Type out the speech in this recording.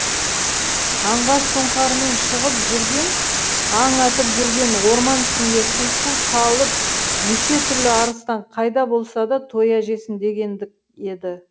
аңға сұңқармен шығып жүрген аң атып жүрген орман ішінде қиқу салып неше түрлі арыстан қайда болса да тоя жесін дегендік еді